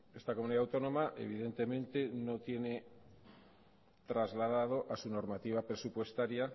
esta comunidad autónoma evidentemente no tiene trasladado a su normativa presupuestaria